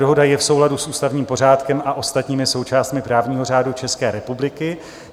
Dohoda je v souladu s ústavním pořádkem a ostatními součástmi právního řádu České republiky.